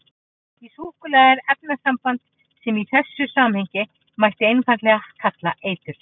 Í súkkulaði er efnasamband sem í þessu samhengi mætti einfaldlega kalla eitur.